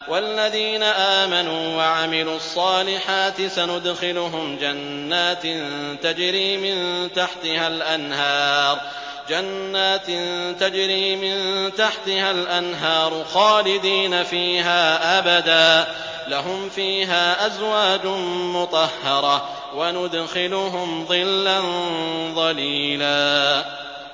وَالَّذِينَ آمَنُوا وَعَمِلُوا الصَّالِحَاتِ سَنُدْخِلُهُمْ جَنَّاتٍ تَجْرِي مِن تَحْتِهَا الْأَنْهَارُ خَالِدِينَ فِيهَا أَبَدًا ۖ لَّهُمْ فِيهَا أَزْوَاجٌ مُّطَهَّرَةٌ ۖ وَنُدْخِلُهُمْ ظِلًّا ظَلِيلًا